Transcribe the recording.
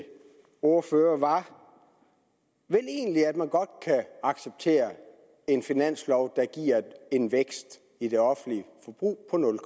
ordfører var vel egentlig at man godt kan acceptere en finanslov der giver en vækst i det offentlige forbrug på nul